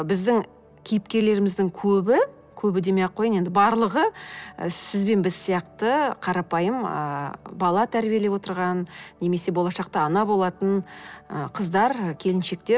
біздің кейіпкерлеріміздің көбі көбі демей ақ қояйын енді барлығы і сіз бен біз сияқты қарапайым ыыы бала тәрбиелеп отырған немесе болашақта ана болатын ы қыздар келіншектер